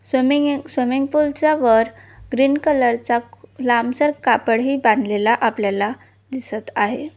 Swimming swimming पूलच्या वर cream colour चा लांबचा कापड बांधलेला आपल्याला दिसत आहे.